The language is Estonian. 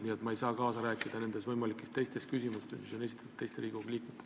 Nii et ma ei saa kaasa rääkida nendes võimalikes teistes küsimustes, mille on esitanud teised Riigikogu liikmed.